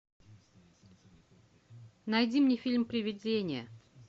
найди мне фильм привидение